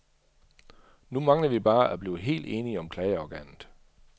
Nu mangler vi bare at blive helt enige om klageorganet.